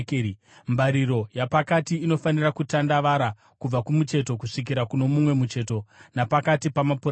Mbariro yapakati inofanira kutandavara kubva kumucheto kusvikira kuno mumwe mucheto napakati pamapuranga.